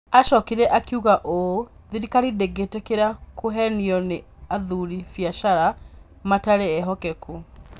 Aacokire akiuga ũũ: "Thirikari ndĩngĩtĩkĩra kũevenio nĩ abũri biacara matarĩ evokeku".